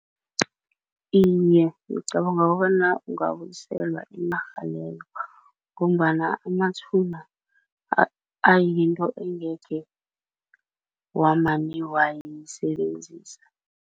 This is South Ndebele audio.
Iye, ngicabanga kobana ungabuyiselwa inarha leyo ngombana amathuna ayinto engekhe wamane wayisebenzisa.